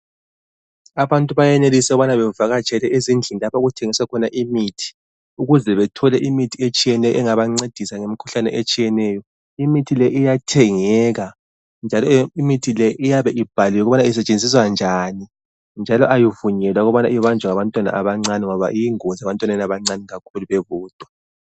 Abantu bayenelisa ukuthi bavakatshele ezindlini lapho okuthengiswa khona imithi. Ukuze bethole imithi etshiyeneyo engabancedisa ngemikhuhlane etshiyeneyo. Imithi le iyathengeka njalo imithi le iyabe ibhaliwe ukuba usetshenziswa njani. Njalo ayivunyelwa ukuba ibanjwe ngabantwana abancane, ngoba iyingozi ebantwaneni abancane kakhulu bebodwa.